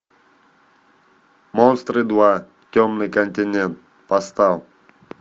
монстры два темный континент поставь